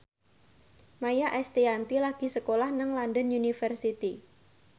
Maia Estianty lagi sekolah nang London University